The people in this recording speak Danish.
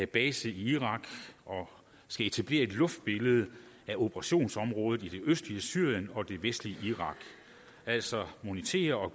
base i irak og skal etablere et luftbillede af operationsområdet i det østlige syrien og det vestlige irak altså monitere og